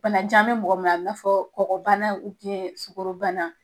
Banajan bɛ mɔgɔ min na a bɛ n'a fɔ kɔgɔbana sukarobana